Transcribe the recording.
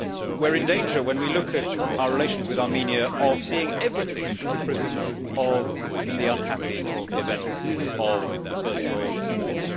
We are in danger, when we look at our relations with Armenia, of seeing everything through the prism of the unhappy events of the First World War.